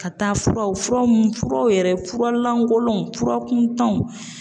Ka taa furaw furaw mun furaw yɛrɛ furalankolonw fura kuntanw.